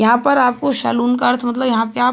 यहाँ पर आपको शालून का अर्थ मतलब यहाँ पे आप --